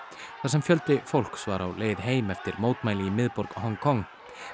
þar sem fjöldi fólks var á leið heim eftir mótmæli í miðborg Hong Kong